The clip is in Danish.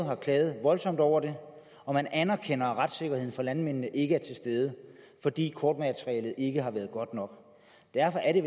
har klaget voldsomt over det og man anerkender at retssikkerheden for landmændene ikke er til stede fordi kortmaterialet ikke har været godt nok derfor er det